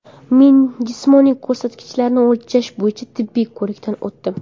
Men jismoniy ko‘rsatkichlarni o‘lchash bo‘yicha tibbiy ko‘rikdan o‘tdim.